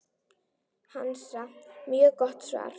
Hansa: Mjög gott svar.